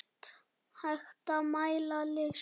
Hægt að mæla list?